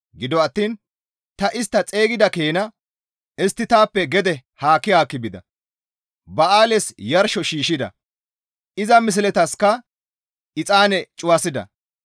Gido attiin ta istta xeygida keena istti taappe gede haakki haakki bida. Ba7aales yarsho shiishshida; iza misletasikka exaane cuwasida.